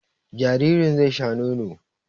Jaririn zai sha nono